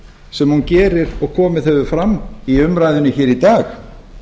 sem hún gerir og komið hefur fram í umræðunni hér í dag